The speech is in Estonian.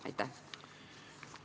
Aitäh!